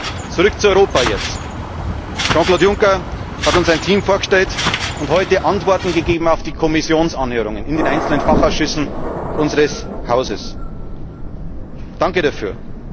Jetzt zurück zu Europa Jean Claude Juncker hat uns ein Team vorgestellt und heute Antworten gegeben auf die Kommissionsanhörungen in den einzelnen Fachausschüssen unseres Hauses. Danke dafür!